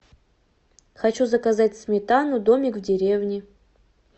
хочу заказать сметану домик в деревне